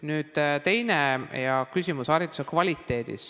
Nüüd teine hea küsimus, hariduse kvaliteet.